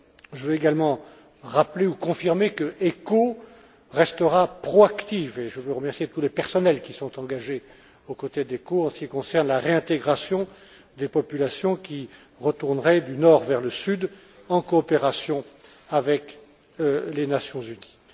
Je veux également rappeler ou confirmer que ECHO restera proactif, et je veux remercier tous les personnels qui sont engagés aux côtés d'ECHO en ce qui concerne la réintégration des populations qui retourneraient du Nord vers le Sud en coopération avec les Nations unies.